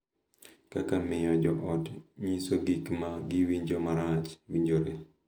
Kaka miyo jo ot nyiso gik ma giwinjo marach, winjore,